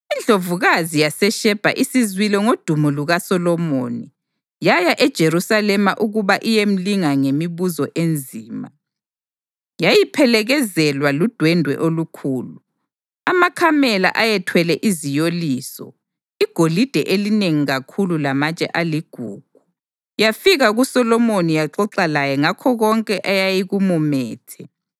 Indlovukazi yaseShebha isizwile ngodumo lukaSolomoni, yaya eJerusalema ukuba iyemlinga ngemibuzo enzima. Yayiphelekezelwa ludwende olukhulu, amakamela ayethwele iziyoliso, igolide elinengi kakhulu lamatshe aligugu, yafika kuSolomoni yaxoxa laye ngakho konke eyayikumumethe.